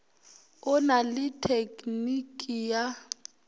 o na le tekniki ya